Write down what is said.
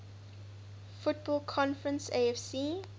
football conference afc